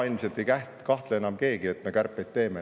Ilmselt ei kahtle enam keegi, et me kärpeid teeme.